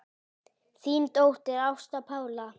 Þín dóttir, Ásta Pála.